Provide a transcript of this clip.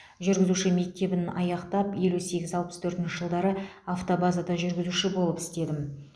жүргізуші мектебін аяқтап елу сегіз алпыс төртінші жылдары автобазада жүргізуші болып істедім